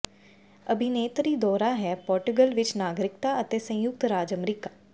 ਅਭਿਨੇਤਰੀ ਦੋਹਰਾ ਹੈ ਪੋਰਟੁਗਲ ਵਿੱਚ ਨਾਗਰਿਕਤਾ ਅਤੇ ਸੰਯੁਕਤ ਰਾਜ ਅਮਰੀਕਾ